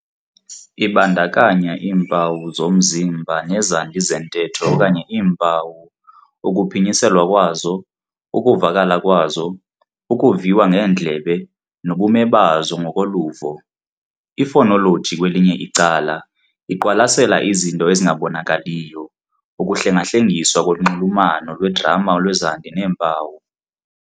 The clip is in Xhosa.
Ibandakanya iimpawu zomzimba nezandi zentetho okanye iimpawu- ukuphinyiselwa kwazo, ukuvakala kwazo, ukuviwa ngeendlebe, nobume bazo ngokoluvo. Ifonoloji kwelinye icala, iqwalasela izinto ezingabonakaliyo, ukuhlengahlengiswa konxulumano lwegrama lwezandi neempawu.